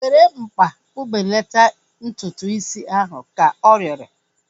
Were mkpa kpụbelata ntutu is ahu! Ka ọ rịọrọ